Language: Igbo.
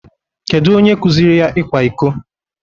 Kedu onye kuziri ya ikwa iko?